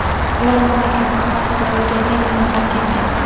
Ular mamlakatni hodisa ro‘y bergan kuni tark etgan.